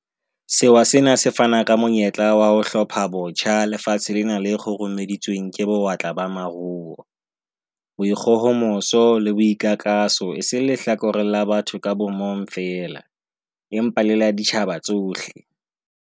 Sewa sena se fana ka monyetla wa ho 'hlophabotjha' lefatshe lena le kgurumeditsweng ke bo-watla ba maruo, boikgohomoso le boikakaso e seng lehlakoreng la batho ka bomong feela, empa le la ditjhaba tsohle.